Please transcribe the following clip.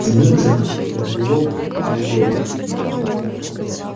дмитрова вербилок талдома